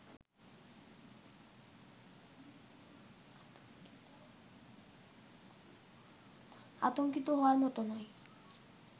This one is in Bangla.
আতংকিত হওয়ার মত নয়